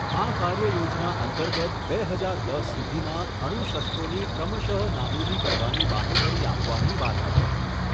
આ કાર્યયોજના અંતર્ગત બે હજાર દસ સુધીમાં અણુશસ્ત્રોની ક્રમશઃ નાબૂદી કરવાની બાંહેધરી આપવાની વાત હતી.